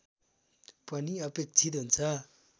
पनि अपेक्षित हुन्छ